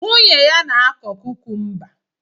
Nwunye ya na-akọ kukumba